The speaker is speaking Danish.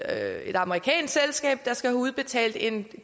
er et amerikansk selskab der skal have udbetalt en